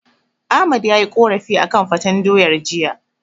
Ahmad yayi korafi akan faten doyar jiya.